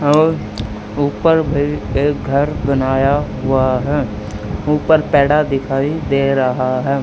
और ऊपर भी एक घर बनाया हुआ है ऊपर पैडा दिखाई दे रहा है।